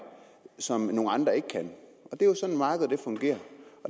som nogle andre ikke kan det er jo sådan markedet fungerer